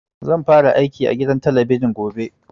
Zan fara aiki a gidan talabijin gobe